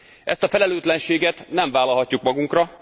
Ezt a felelőtlenséget nem vállalhatjuk magunkra.